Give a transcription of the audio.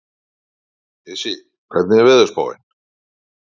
Issi, hvernig er veðurspáin?